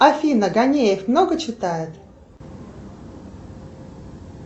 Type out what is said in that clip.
афина гонеев много читает